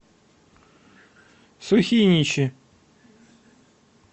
сухиничи